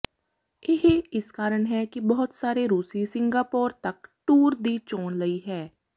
ਇਹ ਇਸ ਕਾਰਨ ਹੈ ਕਿ ਬਹੁਤ ਸਾਰੇ ਰੂਸੀ ਸਿੰਗਾਪੋਰ ਤੱਕ ਟੂਰ ਦੀ ਚੋਣ ਲਈ ਹੈ